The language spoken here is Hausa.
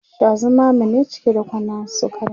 Sha zumame ne cike da kwanan sukarin